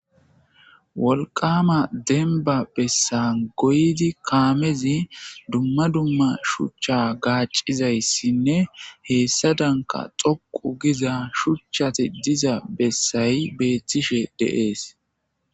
wolqama denba bessa goydi kaamezi dumma dumma shuchcha gaaccizayssinne heessa danka xoqu giza shuchchati diza bessayi beethtishe deees